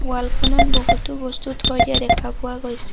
ৱালখনত বহুতো বস্তু থৈ দিয়া দেখা পোৱা গৈছে।